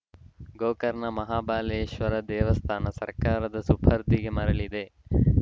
ಗೋಕರ್ಣ ಮಹಾಬಲೇಶ್ವರ ದೇವಸ್ಥಾನ ಸರ್ಕಾರದ ಸುಪರ್ದಿಗೆ ಮರಳಿದೆ